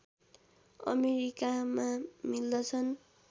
अमेरिकामा मिल्दछन्